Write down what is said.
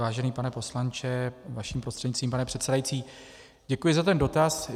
Vážený pane poslanče, vaším prostřednictvím, pane předsedající, děkuji za ten dotaz.